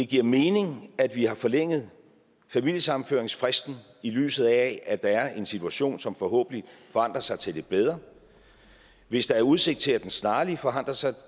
giver mening at vi har forlænget familiesammenføringsfristen i lyset af at der er en situation som forhåbentlig forandrer sig til det bedre hvis der er udsigt til at den snart forandrer sig